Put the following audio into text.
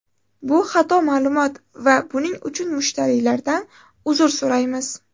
Bu xato ma’lumot va buning uchun mushtariylardan uzr so‘raymiz.